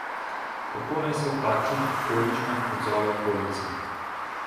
Kako naj se v takšnih okoliščinah odzove okolica?